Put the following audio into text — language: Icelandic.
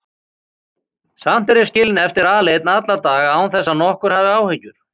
Samt er ég skilinn eftir aleinn alla daga án þess að nokkur hafi áhyggjur.